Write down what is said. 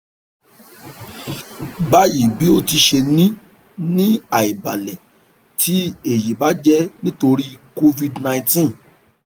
bayi bi o ti ṣe ni ni aibalẹ ti eyi ba jẹ nitori covid nineteen